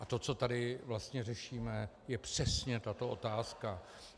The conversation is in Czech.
A to, co tady vlastně řešíme, je přesně tato otázka.